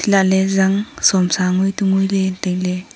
laale zang somsa ngui tu nguile taile.